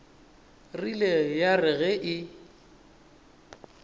rile ya re ge e